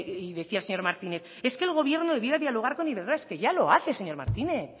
y decía el señor martínez es que el gobierno debiera dialogar con iberdrola es que ya lo hace señor martínez